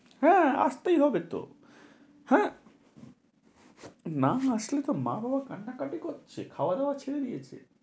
হ্যাঁ, আসতেই হবে তো। হ্যাঁ, না আসলে তো মা-বাবা কান্নাকাটি করছে, খাওয়া-দাওয়া ছেড়ে দিয়েছে।